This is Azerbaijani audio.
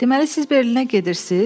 Deməli, siz Berlinə gedirsiniz?